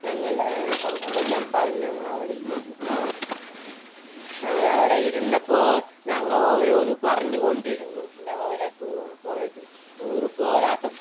ഞങ്ങൾ കണക്കുമെല്ലാം എല്ലാം പറഞ്ഞ് അവിടെ ഇരുന്നു ഞങ്ങളവിടെ ഇരുന്നപ്പോൾ ഞങ്ങളോരോന്ന് പറഞ്ഞുകൊണ്ടിരുന്നു ഞങ്ങളുടെ tour പോയതും tour പോകാത്ത